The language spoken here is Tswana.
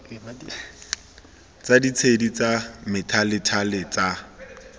tsa ditshedi tsa methalethale tsa